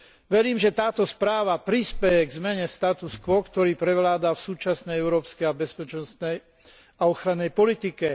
Verím, že táto správa prispeje k zmene status quo, ktorý prevláda v súčasnej európskej bezpečnostnej a obrannej politike.